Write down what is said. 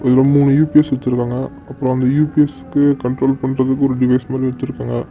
இதுல மூணு யூ_பி_ஸ் வெச்சிருக்காங்க அப்பறம் அந்த யூ_பி_ஸ்க்கு கண்ட்ரோல் பண்ணுறதுக்கு ஒரு டிவைஸ் மாறி வெச்சிருக்காங்க.